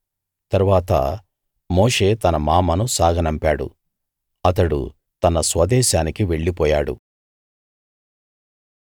తరువాత మోషే తన మామను సాగనంపాడు అతడు తన స్వదేశానికి వెళ్ళిపోయాడు